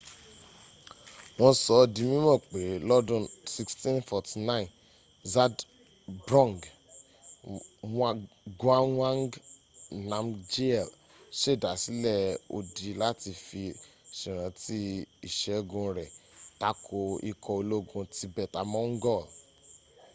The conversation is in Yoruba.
wọ́n sọ ọ́ di mímọ̀ pé lọ́dun 1649 zhabdrung ngawang namgyel sèdásílẹ̀ odi láti fi sèrántí ìṣẹ́gun rẹ̀ tako ikọ̀ ológun tibetan-mongol